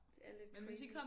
Det er lidt crazy